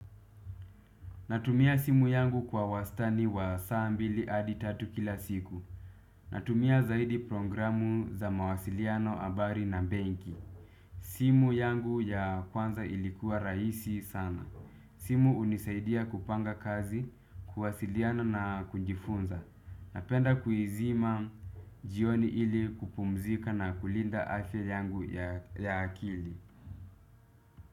Natumia simu yangu kwa wastani wa saa mbili adi tatu kila siku. Natumia zaidi programu za mawasiliano habari na mbenki. Simu yangu ya kwanza ilikuwa raisi sana. Simu unisaidia kupanga kazi, kuwasiliano na kujifunza. Napenda kuizima jioni ili kupumzika na kulinda afya yangu ya akili.